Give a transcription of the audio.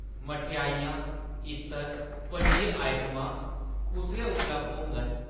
मठेआइयां, इत्तर, पनीर आइटमां कुसलै उपलब्ध होङन ?